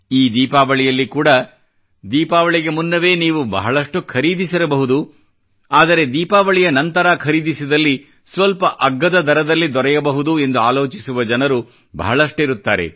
ಈ ದೀಪಾವಳಿಯಲ್ಲಿ ಕೂಡಾ ದೀಪಾವಳಿಗೆ ಮುನ್ನವೇ ನೀವು ಬಹಳಷ್ಟು ಖರೀದಿಸಿರಬಹುದು ಆದರೆ ದೀಪಾವಳಿಯ ನಂತರ ಖರೀದಿಸಿದಲ್ಲಿ ಸ್ವಲ್ಪ ಅಗ್ಗದ ದರದಲ್ಲಿ ದೊರೆಯಬಹುದು ಎಂದು ಆಲೋಚಿಸುವ ಜನರು ಬಹಳಷ್ಟಿರುತ್ತಾರೆ